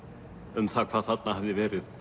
um hvað þarna hafði verið